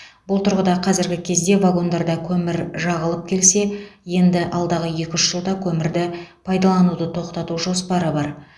бұл тұрғыда қазіргі кезде вагондарда көмір жағылып келсе енді алдағы екі үш жылда көмірді пайдалануды тоқтату жоспары бар